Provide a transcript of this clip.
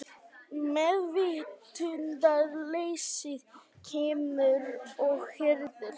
Meðvitundarleysið kemur og hirðir hann.